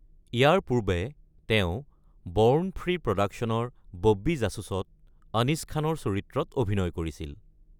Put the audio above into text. ইয়াৰ পূৰ্বে তেওঁ born free প্ৰডাকচনৰ বব্বি জাছুছত অনিছ খানৰ চৰিত্ৰত অভিনয় কৰিছিল।